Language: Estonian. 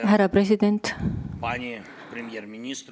Härra president!